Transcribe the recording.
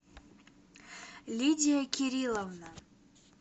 лидия кирилловна